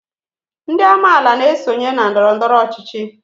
Ndị amaala na-esonye na ndọrọndọrọ ọchịchị